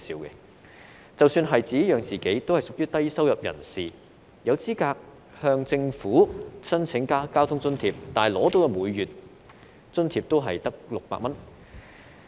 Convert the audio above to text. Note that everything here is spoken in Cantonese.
他們即使可以自己養活自己，也屬於低收入人士，有資格向政府申請交通津貼，但獲得的每月津貼只有600元。